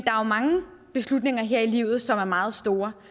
er mange beslutninger her i livet som er meget store